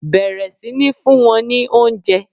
Bẹ̀rẹ̀ sí ní fún wọn ní oúnjẹ